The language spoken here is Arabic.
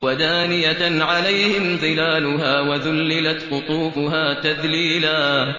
وَدَانِيَةً عَلَيْهِمْ ظِلَالُهَا وَذُلِّلَتْ قُطُوفُهَا تَذْلِيلًا